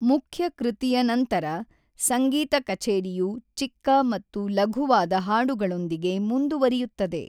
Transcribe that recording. ಮುಖ್ಯ ಕೃತಿಯ ನಂತರ, ಸಂಗೀತ ಕಛೇರಿಯು ಚಿಕ್ಕ ಮತ್ತು ಲಘುವಾದ ಹಾಡುಗಳೊಂದಿಗೆ ಮುಂದುವರಿಯುತ್ತದೆ.